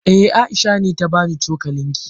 Eh, Aisha ne ta bani cokalin ki.